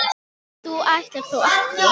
þú ætlar þó ekki.